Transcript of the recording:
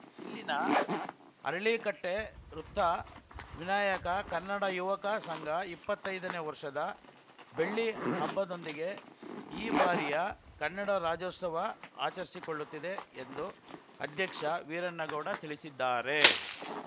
ಇಲ್ಲಿನ ಅರಳೀಕಟ್ಟೆವೃತ್ತ ವಿನಾಯಕ ಕನ್ನಡ ಯುವಕ ಸಂಘ ಇಪ್ಪತ್ತೈದನೇ ವರ್ಷದ ಬೆಳ್ಳಿ ಹಬ್ಬದೊಂದಿಗೆ ಈ ಬಾರಿಯ ಕನ್ನಡ ರಾಜ್ಯೋತ್ಸವ ಆಚರಿಸಿಕೊಳ್ಳುತ್ತಿದೆ ಎಂದು ಅಧ್ಯಕ್ಷ ವೀರಣ್ಣಗೌಡ ತಿಳಿಸಿದ್ದಾರೆ